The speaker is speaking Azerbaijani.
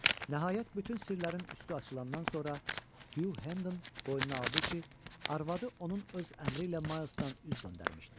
Nəhayət, bütün sirlərin üstü açılandan sonra Hu Henden boynuna aldı ki, arvadı onun öz əmri ilə Maylsdan üz döndərmişdi.